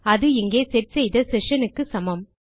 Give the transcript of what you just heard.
அது இங்கே செட் செய்த செஷன் க்கு சமம்